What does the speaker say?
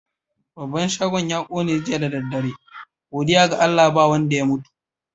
Babban shagon ya ƙone jiya da dare. Godiya ga Allah ba wanda ya mutu.